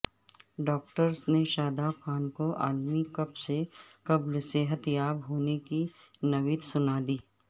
doctors نے شاداب خان کو عالمی کپ سے قبل صحت یاب ہونے کی نوید سنادی